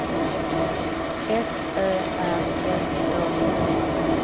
F Ö R M Å N